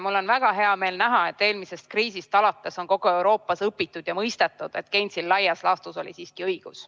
Mul on väga hea meel näha, et eelmisest kriisist alates on kogu Euroopas õpitud ja mõistetud, et Gatesil oli laias laastus siiski õigus.